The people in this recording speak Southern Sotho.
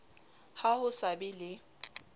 ha ho sa be le